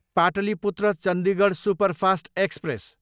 Pataliputra, Chandigarh superfast express